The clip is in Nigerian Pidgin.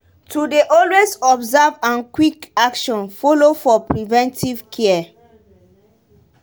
to dey alway observe and quick action follow for preventive care.